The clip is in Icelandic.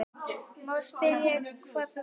Má spyrja hvað þú kaust?